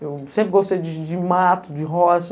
Eu sempre gostei de mato, de roça.